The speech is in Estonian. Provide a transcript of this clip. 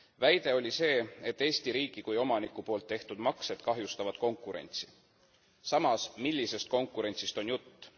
Väide oli see, et Eesti riigi kui omaniku poolt tehtud maksed kahjustavad konkurentsi, samas, millisest konkurentsist on jutt?